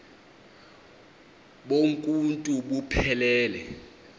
bonk uuntu buphelele